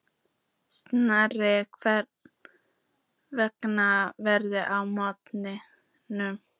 Snær, hvernig verður veðrið á morgun?